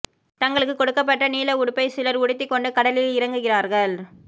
தங்களுக்கு கொடுக்கப்பட்ட நீல உடுப்பை சிலர் உடுத்திக் கொண்டு கடலில் இறங்குகிறார்கள்